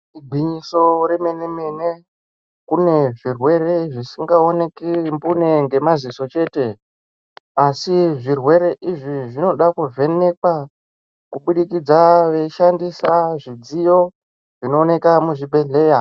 Igwinyiso remene mene kune zvirwere zvisinga oneki mbune ngemadziso chete asi zvirwere izvi zvinoda kuvhenekwa kubudikidza veishandisa zvidziyo zvinooneka muzvibhehleya.